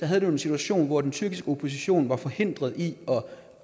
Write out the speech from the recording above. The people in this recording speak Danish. havde en situation hvor den tyrkiske opposition var forhindret i